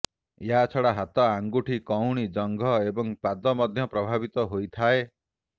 ଏହାଛଡ଼ା ହାତ ଆଙ୍ଗୁଠି କହୁଣୀ ଜଙ୍ଘ ଏବଂ ପାଦ ମଧ୍ୟ ପ୍ରଭାବିତ ହୋଇଥାଏ